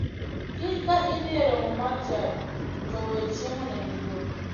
Kiny ka idhi e romo mar chadi to we chiemo ne nyithindo.